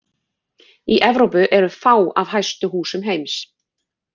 Í Evrópu eru fá af hæstu húsum heims.